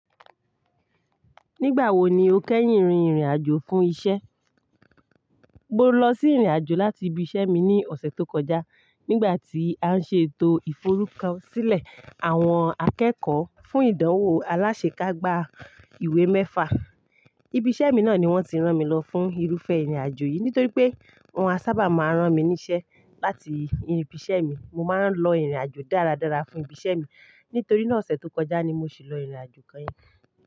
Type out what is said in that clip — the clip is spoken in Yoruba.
Nígbà wo ni o kẹ́yìn rin ìrìn àjò fún isẹ́? Mo lọ sí ìrìn àjò láti ibi isẹ́ mi ní ọ̀sẹ̀ tó kọjá nígbà tí a ń ṣe ètò ìforúkọsílẹ̀ àwọn akẹ́kọ̀ọ́ fún ìdánwò aláṣẹ kágba ìwé méfa. Ibi isẹ́ mi náà ni wọ́n ti rán mi lọ fún irúfẹ́ ìrìn àjò yìí nítorí pé wọ́n a sábà máa ń rán mi níṣẹ́ láti ibi isẹ́ mi. Mo máa ń lọ ìrìn àjò dáradára fún ibi isẹ́ mi nítorí náà ọ̀sẹ̀ tó kọjá ni mo sì lọ ìrìn àjò kẹ́yìn.